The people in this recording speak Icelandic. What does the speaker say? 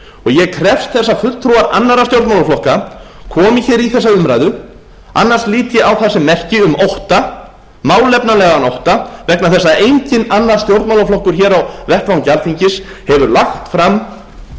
ég krefst þess að fulltrúar annarra stjórnmálaflokka komi hér í þessa umræðu annars lít ég á það sem merki um ótta málefnalegan ótta vegna þess að enginn annar stjórnmálaflokkur hér á vettvangi alþingis hefur lagt fram